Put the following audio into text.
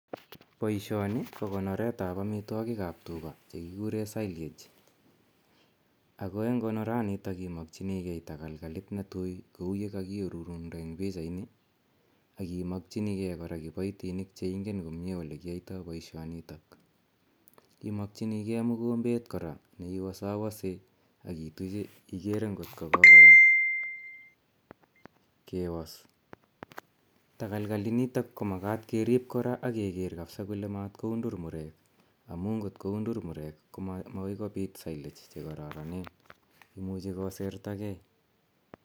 Poishoni ko konoret ap amitwogik ap tuga che kikure silage. Ako eng' konoranitok imakchinigei takalkalit ne tui kou ye kakiarorunda en pichaini ak imakchinigei kora kipaitinik che ingen komye ole kiyaitai poishonitok. Imakchinigei mukombet kora ne iwasawase am ituche igeke ngot ko kokoyam kewas. Tagalkalinitok ko makata kerip ak keker kole matkoundur murek amu ngot koundur murek ko makoi kopit silage che kararanen. Imuchi kosertagei.